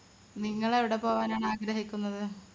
നിങ്ങൾ എവിടെ പോകാനാണ് ആഗ്രഹിക്കുന്നത്